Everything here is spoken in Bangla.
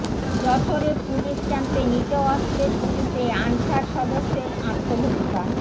যশোরে পুলিশ ক্যাম্পে নিজ অস্ত্রের গুলিতে আনসার সদস্যের আত্মহত্যা